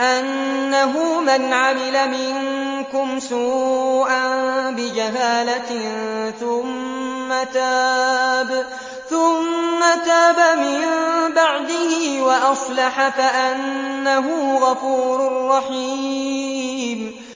أَنَّهُ مَنْ عَمِلَ مِنكُمْ سُوءًا بِجَهَالَةٍ ثُمَّ تَابَ مِن بَعْدِهِ وَأَصْلَحَ فَأَنَّهُ غَفُورٌ رَّحِيمٌ